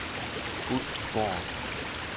Ulfborg